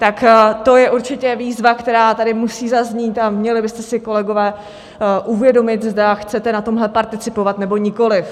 Tak to je určitě výzva, která tady musí zaznít, a měli byste si, kolegové, uvědomit, zda chcete na tomhle participovat, nebo nikoli.